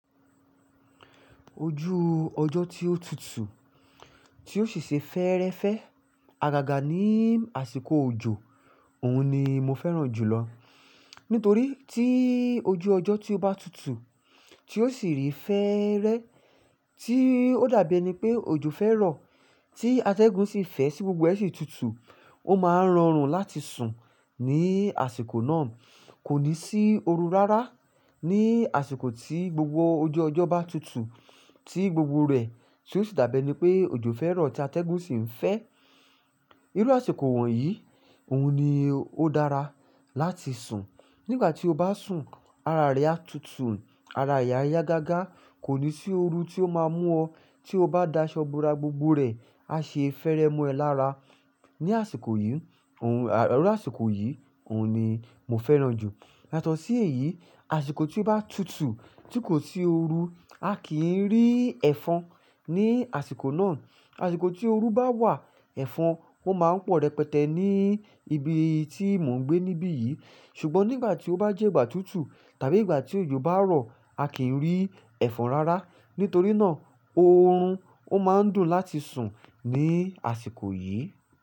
Ojú ọjọ́ tí ó tutù, tí ó sì ṣe fẹ́ẹ́rẹ́fẹ́ agaga ní àsìkò òjò, òun ni mo fẹ́ràn jùlọ. Nítorí tí ojú ọjọ́ tí ó bá tutù, tí ó sì rí fẹ́ẹ́rẹ́, tí ó dàbí ẹni pé òjò fẹ́ rọ, tí atẹ́gùn sì ń fẹ́ sí gbogbo ẹṣin tutù, ó máa ń rọrùn láti sùn ní àsìkò náà. Kò ní sí oru rárá ní àsìkò tí gbogbo ojú ọjọ́ bá tutù, tí gbogbo rẹ̀ tí ó sì dàbí ẹni pé òjò fẹ́ rọ̀ tí atẹ́gùn sì ń fẹ́. Irú àsìkò wọ̀nyí, òun ni ó dára láti sùn. Nígbà tí o bá sùn, ara rẹ a tutù, ara yi ayá gágá, kò ní sí oru tí ó máa mú ọ, tí o bá daṣọ bora, gbogbo rẹ̀ á ṣe fẹ́ẹ́rẹ́ mọ́ ẹ lára. Ní àsìkò yìí, òun à-- irú àsìkò yìí, òun ni mo fẹ́ràn jù. Yátọ́ṣì èyí, àsìkò tí ó bá tutù tí kò sí oru, a kì í rí ẹ̀fọn ní àsìkò náà. Àsìkò tí oru bá wà, ẹ̀fọn ó máa ń pọ̀ rẹpẹtẹ ní ibi tí mò ń gbé níbí yìí. Ṣùgbọ́n nígbà tí ó bá jẹ́ ìgbà tutù tàbí ìgbà tí òjò bá rọ̀, a kì ń rí ẹ̀fọn rárá. Nítorí náà, oorun ó máa ń dùn láti sùn ní àsìkò yìí.